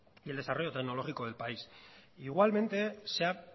y el desarrollo tecnológico del país igualmente se ha